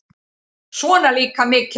Svona líka mikilvægt